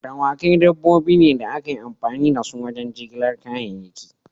Dawakai dabbobi ne da ake amfani da su wajen jigilar kayayyaki.